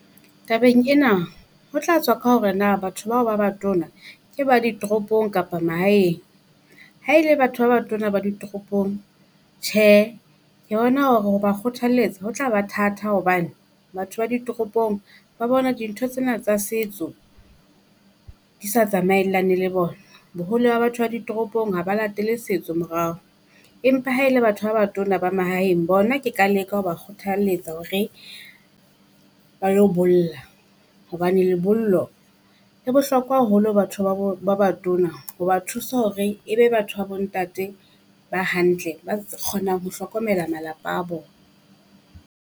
Tabeng ena, ho tla tswa ka hore na batho bao ba batona ke ba ditoropong kapa mahaeng. Ha e le batho ba batona ba ditoropong tjhe, ke bona hore ho ba kgothalletsa ho tla ba thatha hobane batho ba ditoropong ba bona dintho tsena tsa setso di sa tsamaellane le bona. Bohole ba batho ba ditoropong ha ba latele setso morao, empa ha e le batho ba batona ba mahaeng bona, ke ka leka ho ba kgothaletsa hore ba lo bolla. Hobane lebollo le bohlokwa haholo batho ba bo ba batona ho ba thusa hore ebe batho ba bo ntate ba hantle, ba kgonang ho hlokomela malapa a bona.